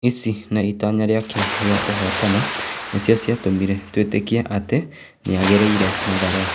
Ici hamwe na itanya rĩake rĩa kũhotana nĩcio cĩatũmire twĩtĩkie atĩ nĩagĩrĩire Mathare.